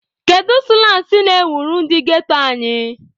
Kedu sụlang na-ewuru ndị ghetto anyị?